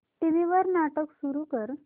TV वर नाटक सुरू कर